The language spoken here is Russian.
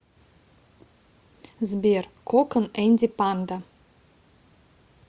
сбер кокон энди панда